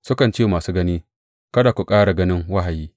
Sukan ce wa masu gani, Kada ku ƙara ganin wahayi!